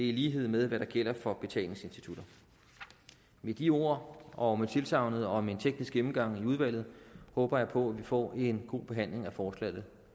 i lighed med hvad der gælder for betalingsinstitutter med de ord og med tilsagnet om en teknisk gennemgang i udvalget håber jeg på at vi får en god behandling af forslaget